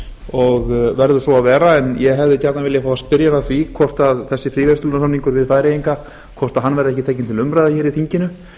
og verður svo að vera en ég hefði gjarnan viljað fá að spyrja hann að því hvort þessi fríverslunarsamningur við færeyinga verði ekki tekinn til umræðu hér í þinginu